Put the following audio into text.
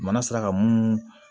Mana sera ka munu